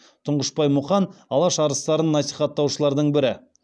тұңғышбай мұқан алаш арыстарын насихаттаушылардың бірі